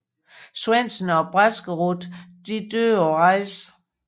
Svendsen og Braskerud døde på rejsen